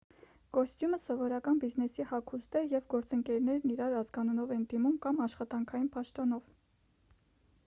կոստյումը սովորական բիզնեսի հագուստ է և գործընկերներն իրար ազգանունով են դիմում կամ աշխատանքային պաշտոնով